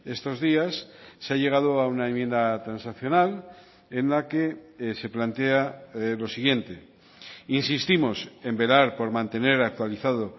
estos días se ha llegado a una enmienda transaccional en la que se plantea lo siguiente insistimos en velar por mantener actualizado